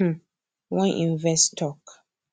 um wan invest talk